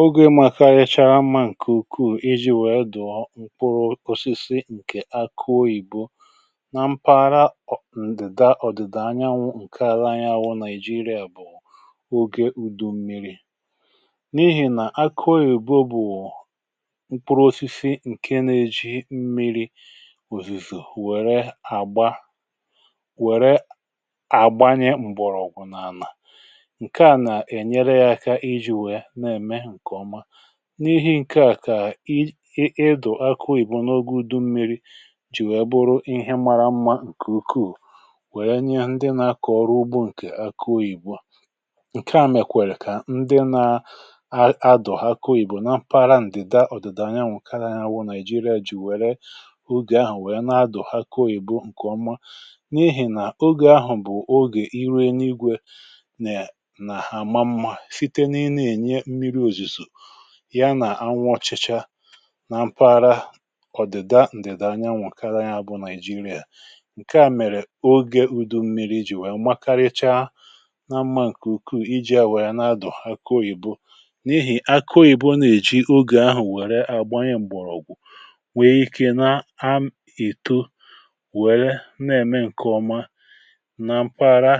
oge m aka ichara mma nke ukwuù iji wèe dù mkpụrụ osisi ǹkè ako ìgbo nà mpàra ọ̀ ǹdị̀dà ọ̀dị̀dà anyanwụ̇ ǹke ala anyi awụ nà iji iri à bụ̀ ogė ùdù mmi̇ri n’ihì nà akùo ìgbo bụ̀ mkpụrụ osisi ǹke nȧ-ėji mmi̇ri òzùzò wère àgba wère àgbanye m̀bọ̀rọ̀gwù nà ànà n’ihi ǹke à kà ị ịdọ̀ akụ oyìbo n’ogė udummiri jì wèe bụrụ ịhị̇ mara mmȧ ǹkè ùkù wèrè nye ndị nȧ-akọ̀ ọrụ ugbo ǹkè akụ oyìbo ǹke à mèkwèrè kà ndị nȧ-adọ̀ akụ oyìbo na parantịda ọ̀dị̀dà nya nwụkara nya wụ nigeria jì wèe bụ̀ ogè ahụ̀ wèe nà-adọ̀ akụ oyìbo ǹkè ọma n’ihì nà ogè ahụ̀ bụ̀ ogè irène igwė nà àma mmȧ ya nà anwụchichaa na mpụ àra ọ̀dịda ǹdịda anyanwụ̀ kara ya bụ nàị̀jịrịà ǹke à mèrè ogė ùdụ mmiri̇ jì nwèe makaricha na mmȧ ǹkè ukwuù iji̇ à nwèrè na-adọ̀ akụ oyìbo n’ihì akụoyìbo na-èji ogè ahụ̀ nwère àgbanyẹ̀ m̀bọ̀rọ̀ọ̀gwụ̀ nwèe ike na am ị̀tọ nwère na-ème ǹkè ọma nà mkpa àra